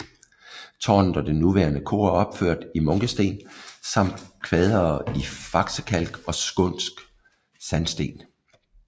Tårnet og det nuværende kor er opført i munkesten samt kvadere i faksekalk og skånsk sandsten